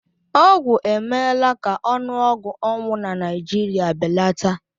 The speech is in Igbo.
Ọgwụ emela ka ọnụọgụ ọnwụ na Naịjirịa belata